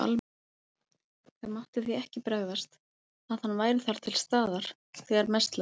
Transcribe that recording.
Það mátti því ekki bregðast, að hann væri þar til staðar, þegar mest lægi við.